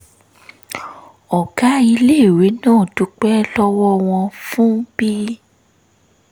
ọ̀gá iléèwé náà dúpẹ́ lọ́wọ́ wọn fún bí